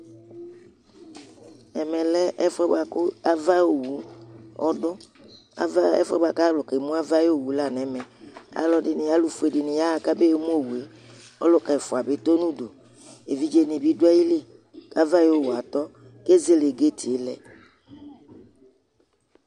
ɛmɛ lɛ ɛfòɛ boa kò ava ayi owu ɔdu ava ɛfòɛ boa kò alò ke mu ava ayi owu la n'ɛmɛ ɔloɛdini alo fue di ni ya ɣa k'abe mu owue ɔluka ɛfua bi tɔ no udu evidze ni bi do ayili ava ayi owue atɔ k'ezele gait lɛ